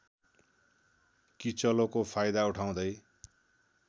किचलोको फाइदा उठाउँदै